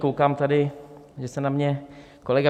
Koukám tady, že se na mě kolega